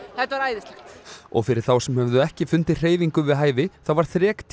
þetta var æðislegt og fyrir þá sem höfðu ekki fundið hreyfingu við hæfi þá var